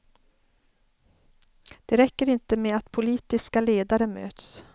Det räcker inte med att politiska ledare möts.